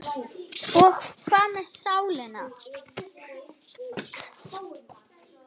Og hvað með sálina?